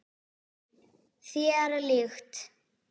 Þér líkt.